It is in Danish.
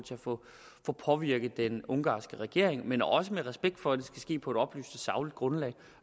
få påvirket den ungarske regering men også med respekt for at det skal ske på et oplyst og sagligt grundlag